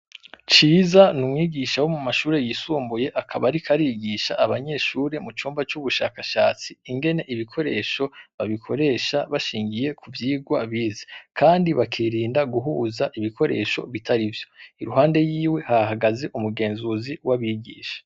Ciza n'umwigisha wo mumashure y'isumbuye, akaba ariko arigisha abanyeshure mu cumba c'ubushakashatsi ingene ibikoresho babikoresha bashingiye kuvyigwa bize, kandi bakirinda guhuza ibikoresho bitarivyo, iruhande yiwe hahagaze umugenzuzi wabigisha.